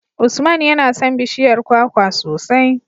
Usman yana son bishiyar kwakwa sosai.